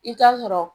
I t'a sɔrɔ